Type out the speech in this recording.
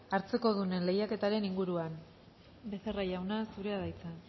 hartzekodunen lehiaketaren inguruan becerra jauna zurea da hitza